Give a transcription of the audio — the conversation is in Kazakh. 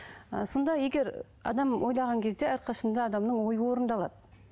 ы сонда егер адам ойлаған кезде әрқашан да адамның ойы орындалады